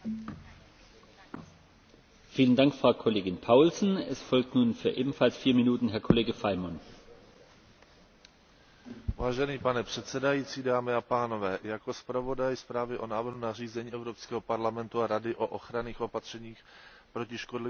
Vážený pane předsedající, jako zpravodaj zprávy o návrhu nařízení Evropského parlamentu a Rady o ochranných opatřeních proti škodlivým organismům rostlin bych Vám rád na úvod rozpravy sdělil základní informace o tomto návrhu a jeho dosavadním projednávání ve výborech.